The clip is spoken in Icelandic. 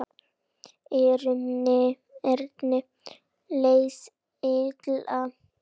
Erni leið illa.